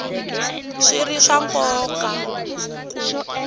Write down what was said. swi ri swa nkoka ku